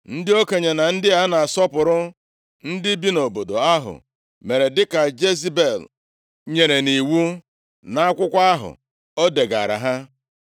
Ndị okenye na ndị a na-asọpụrụ ndị bi nʼobodo ahụ mere dịka Jezebel nyere nʼiwu nʼakwụkwọ ahụ o degaara ha.